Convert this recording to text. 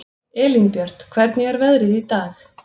Elínbjört, hvernig er veðrið í dag?